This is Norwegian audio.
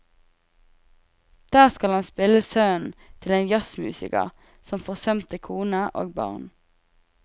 Der skal han spille sønnen til en jazzmusiker som forsømte kone og barn.